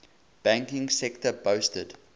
banking sector boasted